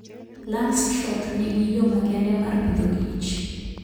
Langstroth nigi yo makende mar Agriculture and Food